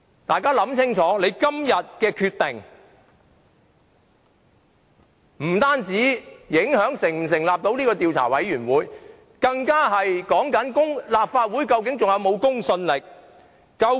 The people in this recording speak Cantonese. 大家要想清楚，今天的決定不單會影響立法會能否成立調查委員會，更關乎究竟立法會是否仍有公信力。